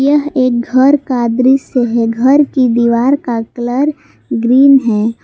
यह एक घर का दृश्य है घर कि दीवार का कलर ग्रीन है।